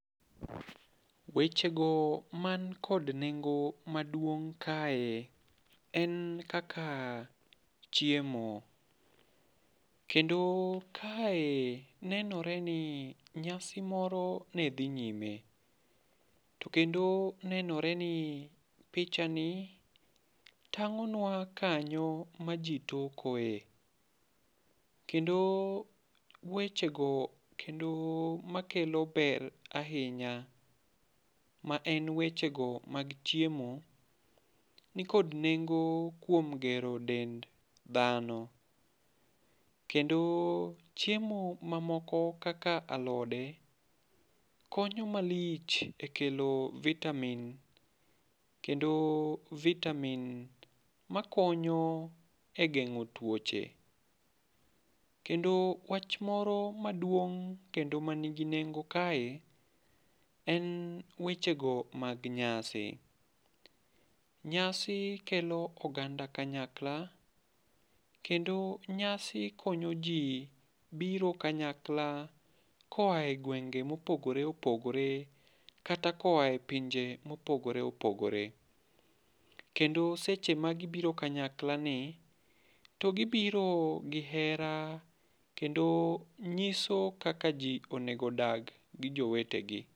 Wechego man kod nengo maduong' kae en kaka chiemo. Kendo kae nenore ni nyasi moro ne dhi nyime. To kendo nenore ni picha ni tang'o nwa kanyo ma ji tokoe. Kendo wechego kendo makelo ber ahinya ma en wechego mag chiemo, nikod nengo kuom gero dend dhano. Kendo chiemo ma moko kaka alode konyo malich e kelo vitamin. Kendo vitamin makonyo e geng'o twoche. Kendo wach moro maduong' kendo ma nigi nengo kae en wechego mag nyasi. Nyasi kelo oganda kanyakla, kendo nyasi konyo ji biro kanyakla koae gwenge ma opogore opogore. Kata koae pinje ma opogore opogore. Kendo seche ma gibiro kanyakla ni, to gibirio gi hera kendo nyiso kaka ji onego odagi gi jowetegi.